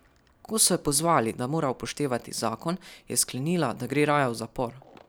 Ko so jo pozvali, da mora upoštevati zakon, je sklenila, da gre raje v zapor.